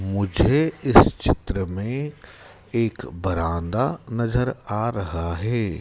मुझे इस चित्र में एक बरांडा नजर आ रहा हैं।